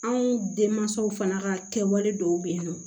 Anw denmansaw fana ka kɛwale dɔw bɛ yen nɔ